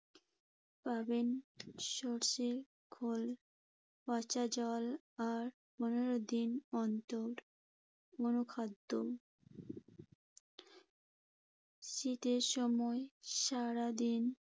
পাবেন সরষের খৈল, পচা জল আর পনেরো দিন অন্তর পুরনো খাদ্য। শীতের সময় সারাদিন